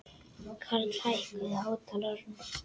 Karli, hækkaðu í hátalaranum.